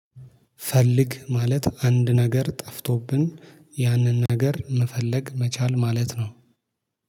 ፈልግ ማለት አንድ ነገር ጠፍቶብን ያንን ነገር መፈለግ መቻል ማለት ነው